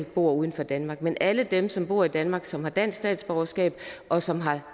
bor udenfor danmark men alle dem som bor i danmark som har dansk statsborgerskab og som har